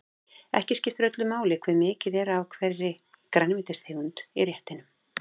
Ekki skiptir öllu máli hve mikið er af hverri grænmetistegund í réttinum.